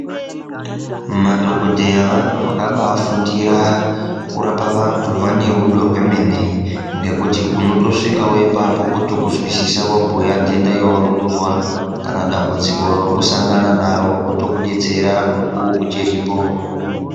Madhogodheya vantu vakabafundire kurapa vantu, vanerudo rwemene ngekuti unotosvikawo ipapo wotokuzwisisa wabhuya nhenda yaurikuzwa kana dambudziko rauri kusangana naro.